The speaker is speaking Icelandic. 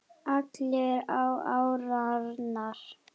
Allir á árarnar